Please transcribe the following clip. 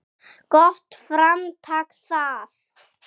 Gott framtak það.